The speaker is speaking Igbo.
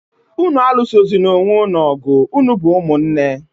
Ụnụ alụsozịna onwé ụnụ ọgụ, ụnụ bụ ụmụ nné!